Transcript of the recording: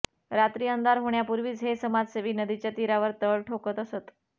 रात्री अंधार होण्यापूर्वीच हे समाजसेवी नदीच्या तीरावर तळ ठोकत असत